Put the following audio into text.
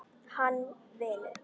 Hann vinur.